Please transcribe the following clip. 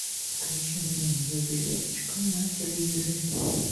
включи мне ювелирочка на телевизоре